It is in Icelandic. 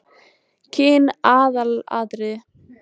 Kyn aðalatriði?